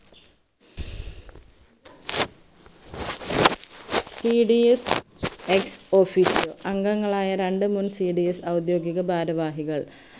cdsex officio അംഗങ്ങളായ രണ്ട്മൂന്ന് cds ഔദ്യോഗിക ഭാരവാഹികൾ